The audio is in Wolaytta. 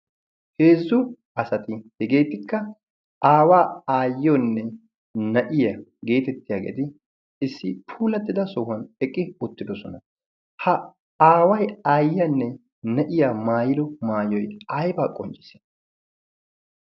heezzu asati hegeetikka aawaa aayyiyoonne na'iyoo geetettiyaageeti issi puulattida sohuwan eqqi uttidosona ha aaway aayyiyaanne na'iya maayido maayiyoy aybaa qonccii?